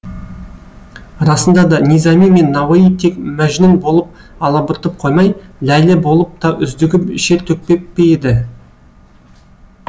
расында да низами мен науаи тек мәжнүн болып алабұртып қоймай ләйлі болып та үздігіп шер төкпеп пе еді